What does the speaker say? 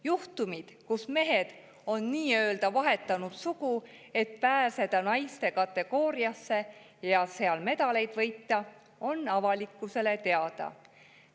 Juhtumid, kus mehed on nii-öelda vahetanud sugu, et pääseda naiste kategooriasse ja seal medaleid võita, on avalikkusele teada.